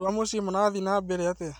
Andũa mũciĩ marathiĩ na mbere atĩa?